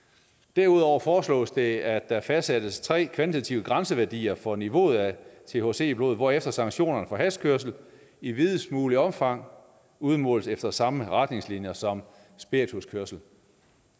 derudover foreslås det at der fastsættes tre kvantitative grænseværdier for niveauet af thc i blodet hvorefter sanktionerne for hashkørsel i videst mulig omfang udmåles efter samme retningslinjer som spirituskørsel